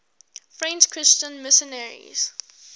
french christian missionaries